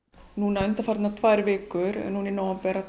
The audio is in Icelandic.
núna undanfarnar tvær vikur núna í nóvember